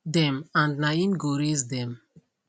dem and na im go raise dem